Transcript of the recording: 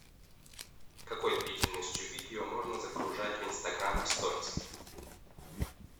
какой длительностью видео можно загружать в инстаграм в сториз